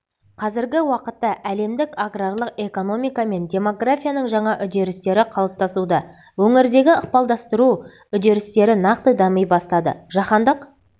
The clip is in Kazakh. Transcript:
қазіргі уақытта әлемдік аграрлық экономика мен демографияның жаңа үдерістері қалыптасуда өңірдегі ықпалдастыру үдерістері нақты дами бастады жаһандық